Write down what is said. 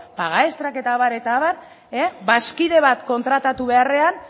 paga estrak eta abar eta abar bazkide bat kontratatu beharrean